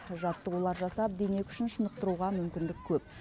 жаттығулар жасап дене күшін шынықтыруға мүмкіндік көп